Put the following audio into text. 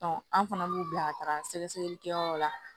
an fana b'u bila ka taga sɛgɛsɛgɛlikɛyɔrɔ la